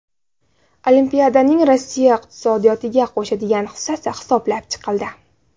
Olimpiadaning Rossiya iqtisodiyotiga qo‘shadigan hissasi hisoblab chiqildi.